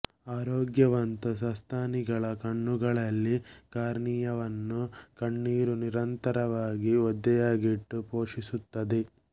ಆರೋಗ್ಯವಂತ ಸಸ್ತನಿಗಳ ಕಣ್ಣುಗಳಲ್ಲಿ ಕಾರ್ನಿಯಾವನ್ನು ಕಣ್ಣೀರು ನಿರಂತರವಾಗಿ ಒದ್ದೆಯಾಗಿಟ್ಟು ಪೋಷಿಸುತ್ತದೆ